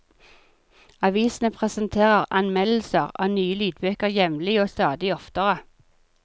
Avisene presenterer anmeldelser av nye lydbøker jevnlig og stadig oftere.